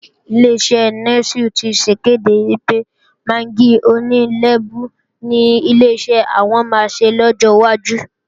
Ileṣẹ́ Nẹ́sù ti sèkéde pé magí oní lẹ́bú ni Ileṣẹ́ àwọn ò máa ṣe lọ́jọ́ wájú